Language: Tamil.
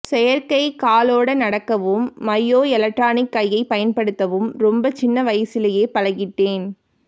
செயற்கை காலோட நடக்கவும் மையோஎலெக்ட்ரிக் கையைப் பயன்படுத்தவும் ரொம்ப சின்ன வயசுலயே பழகிட்டேன்